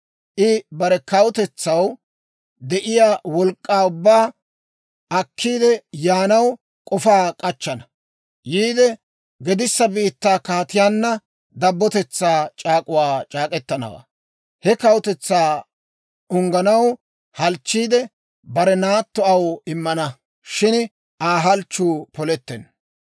I bare kawutetsaw de'iyaa wolk'k'aa ubbaa akkiide yaanaw k'ofaa k'achchana; yiide, gedissa biittaa kaatiyaanna dabbotetsaa c'aak'uwaa c'aak'k'etanawaa. He kawutetsaa ungganaw halchchiide, bare naatto aw immana; shin Aa halchchuu polettenna.